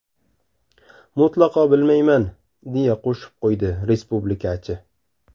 Mutlaqo bilmayman”, deya qo‘shib qo‘ydi respublikachi.